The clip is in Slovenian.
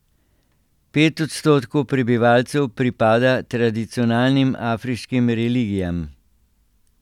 Pet odstotkov prebivalcev pripada tradicionalnim afriškim religijam.